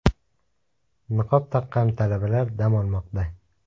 Niqob taqqan talabalar dam olmoqda.